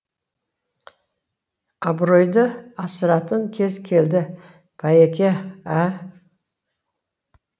абыройды асыратын кез келді байеке ә